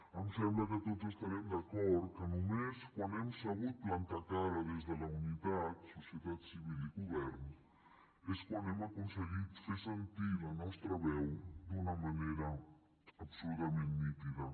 em sembla que tots estarem d’acord que només quan hem sabut plantar cara des de la unitat societat civil i govern és quan hem aconseguit fer sentir la nostra veu d’una manera absolutament nítida